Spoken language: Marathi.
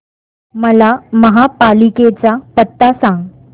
मला महापालिकेचा पत्ता सांग